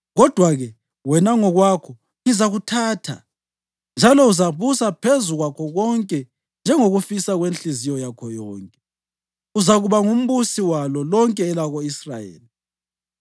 Kodwa-ke, wena ngokwakho, ngizakuthatha, njalo uzabusa phezu kwakho konke njengokufisa kwenhliziyo yakho yonke; uzakuba ngumbusi walo lonke elako-Israyeli.